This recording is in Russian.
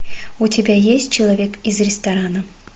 у тебя есть человек из ресторана